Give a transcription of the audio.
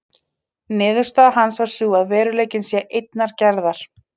Niðurstaða hans var sú að veruleikinn sé einnar gerðar.